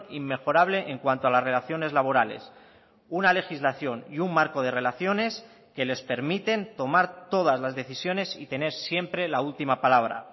inmejorable en cuanto a las relaciones laborales una legislación y un marco de relaciones que les permiten tomar todas las decisiones y tener siempre la última palabra